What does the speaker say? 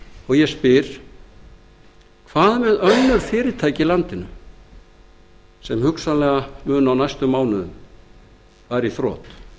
og ég spyr hvað með önnur fyrirtæki í landinu sem munu á næstu mánuðum fara í þrot